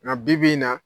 Nka bibi in na